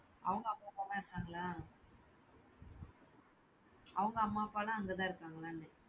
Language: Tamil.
அவங்க அம்மா அப்பாலாம் இருக்காங்களா? அவங்க அம்மா அப்பாலாம் அங்க தான் இருக்கன்காளான்னே.